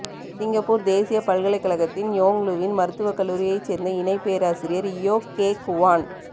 Singapore தேசிய பல்கலைக்கழகத்தின் Yong Loo Lin மருத்துவக் கல்லூரியைச் சேர்ந்த இணைப் பேராசிரியர் இயோ கே குவான்